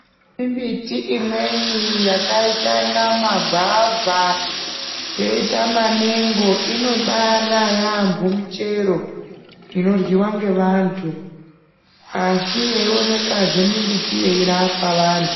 Mbiti imweni yakaita kunge magwavha yoita mamengo inobara yamho michero inoryiwa ngevantu asi yeionekwazve mimbiti yeirapa vantu.